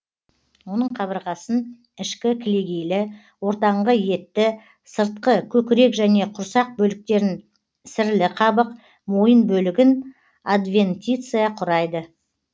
оның қабырғасын ішкі кілегейлі ортаңғы етті сыртқы көкірек және құрсақ бөліктерін сірлі қабық мойын бөлігін адвентиция құрайды